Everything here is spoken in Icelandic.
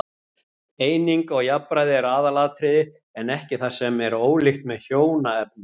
Eining og jafnræði er aðalatriði, ekki það sem er ólíkt með hjónaefnunum.